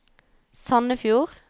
Sandefjord